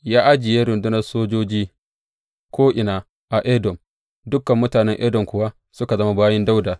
Ya ajiye rundunar sojoji ko’ina a Edom, dukan mutanen Edom kuwa suka zama bayin Dawuda.